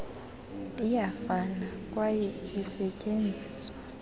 iyafana kwaye isetyenziswa